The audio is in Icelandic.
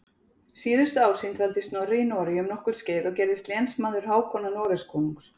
Síðustu ár sín dvaldi Snorri í Noregi um nokkurt skeið og gerðist lénsmaður Hákonar Noregskonungs.